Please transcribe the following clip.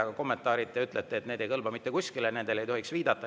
Aga kommentaarid, te ütlete, ei kõlba mitte kuskile, nendele ei tohiks viidata.